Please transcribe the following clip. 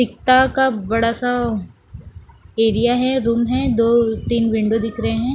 एकता का बड़ा सा एरिया है रूम है दो तीन विंडो दिख रहे हैं।